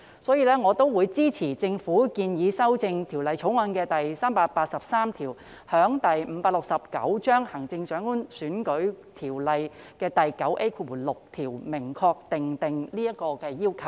所以，我會支持政府建議修正《條例草案》第383條，在《行政長官選舉條例》第 9A6 條明確訂定這個要求。